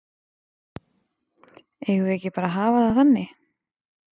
Eigum við ekki bara að hafa það þannig?